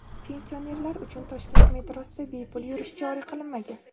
Pensionerlar uchun Toshkent metrosida bepul yurish joriy qilinmagan.